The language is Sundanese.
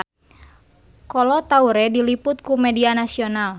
Kolo Taure diliput ku media nasional